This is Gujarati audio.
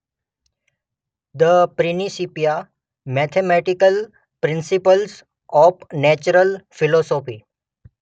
The Principia mathematical principles of natural philosophy.